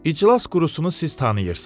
İclas qurusunu siz tanıyırsınız.